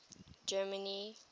germany